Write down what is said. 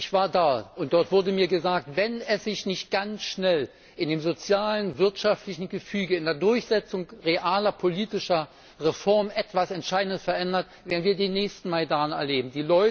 Ich war da, und dort wurde mir gesagt Wenn sich nicht ganz schnell in dem sozialen, wirtschaftlichen Gefüge, in der Durchsetzung realer politischer Reformen etwas Entscheidendes verändert, werden wir den nächsten Majdan erleben.